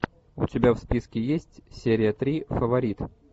у тебя в списке есть серия три фаворит